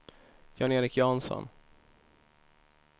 Jan-Erik Jansson